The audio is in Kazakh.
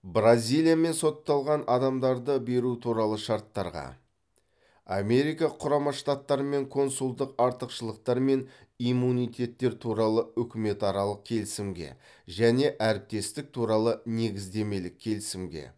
бразилиямен сотталған адамдарды беру туралы шарттарға америка құрама штаттарымен консулдық артықшылықтар мен иммунитеттер туралы үкіметаралық келісімге және әріптестік туралы негіздемелік келісімге